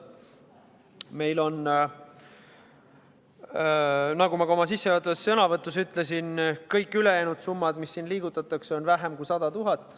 Meil on, nagu ma ka oma sissejuhatavas sõnavõtus ütlesin, kõik ülejäänud summad, mida siin liigutatakse, väiksemad kui 100 000 eurot.